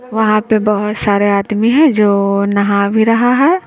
वहां पे बहोत सारे आदमी हैं जो नहा भी रहा हैं।